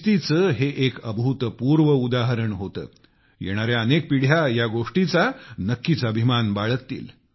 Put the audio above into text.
शिस्तीचे हे एक अभूतपूर्व उदाहरण होते येणाऱ्या अनेक पिढ्या या गोष्टीचा नक्कीच अभिमान बाळगतील